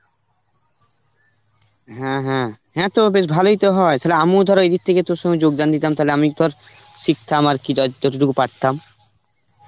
হ্যাঁ হ্যাঁ, হ্যাঁ তো বেশ ভালই তো হয়. সেটা আমিও ধর এদিক থেকে তোর সঙ্গে যোগদান দিতাম, তাহলে আমি তোর শিখতাম আর কি দায়িত্ব যতটুকু পারতাম.